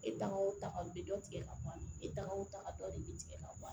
E taga o taga u bɛ dɔ tigɛ ka bɔ a la e tagaw taga dɔ de bɛ tigɛ ka bɔ a la